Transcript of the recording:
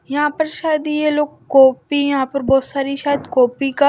यहां पर शायद यह लोग कॉपी यहां पर बहुत सारी शायद कॉपी का--